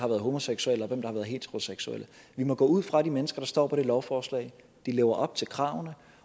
er homoseksuelle og heteroseksuelle vi må gå ud fra at de mennesker der står på det lovforslag lever op til kravene